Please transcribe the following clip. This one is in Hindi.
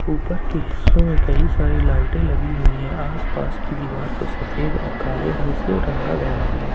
ऊपर के हिस्सों में कई सारे लाइटें लगी हुई हैं आस पास की दीवार को सफेद और काले रंग से रंगा गया है ।